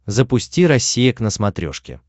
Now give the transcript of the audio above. запусти россия к на смотрешке